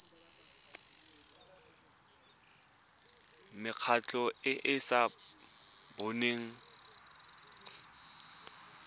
mekgatlho e e sa boneng